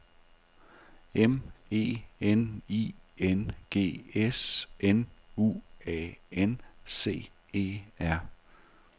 M E N I N G S N U A N C E R